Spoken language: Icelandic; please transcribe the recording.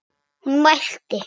Hún mælti: